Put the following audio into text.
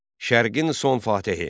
Şərqin son Fatihi.